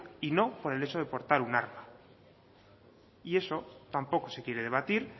y no por el hecho de portar un arma y eso tampoco se quiere debatir